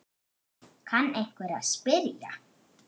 kann einhver að spyrja.